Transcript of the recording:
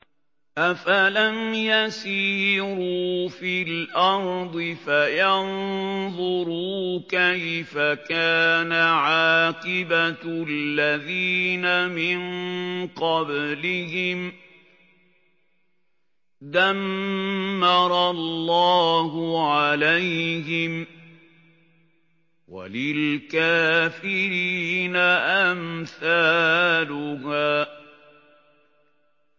۞ أَفَلَمْ يَسِيرُوا فِي الْأَرْضِ فَيَنظُرُوا كَيْفَ كَانَ عَاقِبَةُ الَّذِينَ مِن قَبْلِهِمْ ۚ دَمَّرَ اللَّهُ عَلَيْهِمْ ۖ وَلِلْكَافِرِينَ أَمْثَالُهَا